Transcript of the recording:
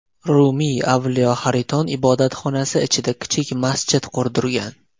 Rumiy Avliyo Hariton ibodatxonasi ichida kichik masjid qurdirgan.